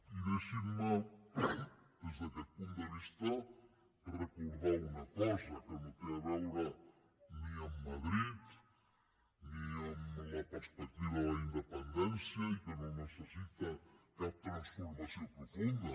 i deixinme des d’aquest punt de vista recordar una cosa que no té a veure ni amb madrid ni amb la perspectiva de la independència i que no necessita cap transformació profunda